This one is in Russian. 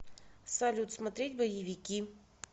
салют смотреть боевики